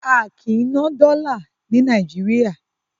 A kìí ná dọ́là ní Nàìjíríà.